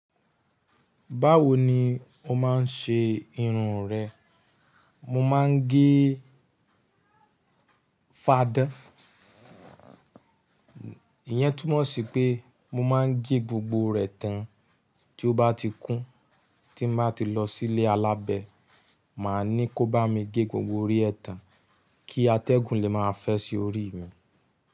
Báwo ni o máa ń ṣe irun rẹ? Mo máa ń gé fadán. Iyẹn túmọ̀ sí pé mo máa ń gé gbogbo rẹ̀ tán tí ó bá ti kún. Tí mo bá ti lọ sí ilé alábẹ, màá ní kó bá mi gé gbogbo orí ẹ tán kí atẹ́gùn lè máa fẹ́ sí orí mi.